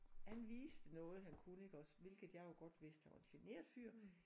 Han viste noget han kunne iggås hvilket jeg jo godt vidste han var en genert fyr